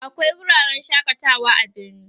akwai wuraren shakatawa a birni